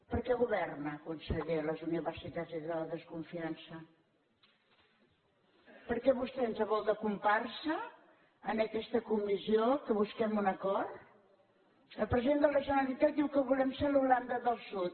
per què governa conseller les universitats des de la desconfiança per què vostè ens vol de comparsa en aquesta comissió que busquem un acord el president de la generalitat diu que volem ser l’holanda del sud